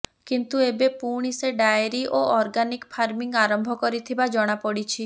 କିନ୍ତୁ ଏବେ ପୁଣି ସେ ଡାଏରି ଓ ଅର୍ଗାନିକ୍ ଫାର୍ମିଂ ଆରମ୍ଭ କରିଥିବା ଜଣାପଡ଼ିଛି